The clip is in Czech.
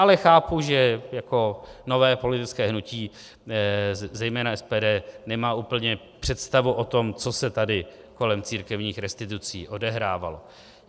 Ale chápu, že jako nové politické hnutí zejména SPD nemá úplně představu o tom, co se tady kolem církevních restitucí odehrávalo.